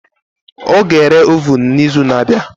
Ọ ga-ere ovun n'izu na-abịa